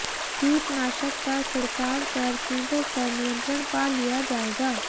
कीटनाशक का छिड़काव कर कीटों पर नियंत्रण पा लिया जाएगा